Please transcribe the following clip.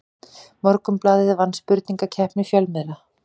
Morgunblaðið vann spurningakeppni fjölmiðla